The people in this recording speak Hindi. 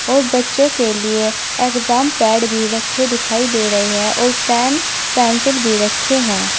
और बच्चों के लिए एग्जाम पैड भी रखे दिखाई दे रहे हैं और पेन पेंसिल भी रखे हैं।